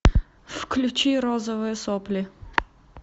включи розовые сопли